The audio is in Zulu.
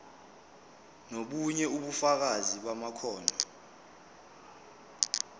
nobunye ubufakazi bamakhono